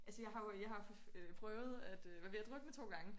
Altså jeg har jo jeg har prøvet at være ved at drukne 2 gange